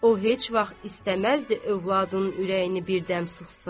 O heç vaxt istəməzdi övladının ürəyini birdəm sıxsın.